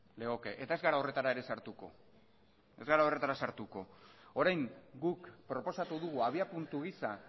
legoke eta ez gara horretara ere sartuko ez gara horretara sartuko orain guk proposatu dugu abiapuntu gisa